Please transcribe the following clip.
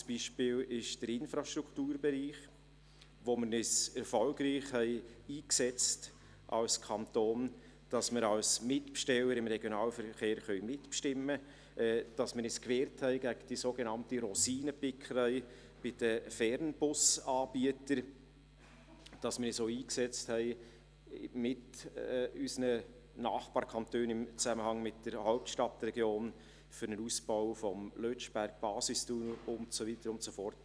Ein anderes Beispiel ist der Infrastrukturbereich, in dem wir uns als Kanton erfolgreich dafür eingesetzt haben, dass wir als Mitbesteller im Regionalverkehr mitbestimmen können, indem wir uns gewehrt haben gegen die sogenannte Rosinenpickerei bei den Fernbus-Anbietern, indem wir uns mit unseren Nachbarkantonen im Zusammenhang mit der Hauptstadtregion auch für einen Ausbau des Lötschberg-Basistunnels eingesetzt haben und so weiter und so fort;